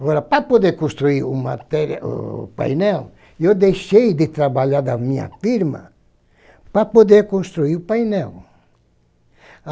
Agora, para poder construir um materi o painel, eu deixei de trabalhar da minha firma para poder construir o painel.